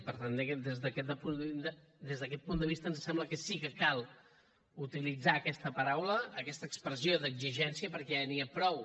i per tant des d’aquest punt de vista ens sembla que sí que cal utilitzar aquesta paraula aquesta expressió d’exigència perquè ja n’hi ha prou